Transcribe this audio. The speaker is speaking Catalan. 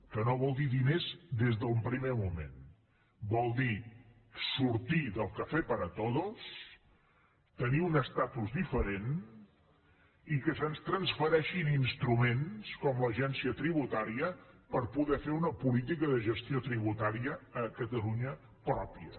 que no vol dir diners des d’un primer moment vol dir sortir del café para todos tenir un estatus diferent i que se’ns transfereixin instruments com l’agència tributària per poder fer una política de gestió tributària a catalunya pròpia